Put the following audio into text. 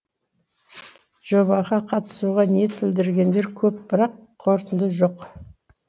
жобаға қатысуға ниет білдіргендер көп бірақ қорытынды жоқ